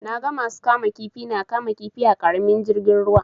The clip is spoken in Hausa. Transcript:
Na ga masu kama kifi na kama kifi a ƙaramin jirgin ruwa.